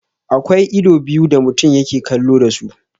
Akwa ido biyu da mutum yake kallo dasu.